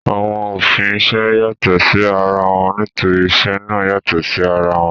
Àwọn òfin isẹ́ yàtọ̀ sí ara wọn nítorí isẹ́ náà yàtọ̀ sí ara wọn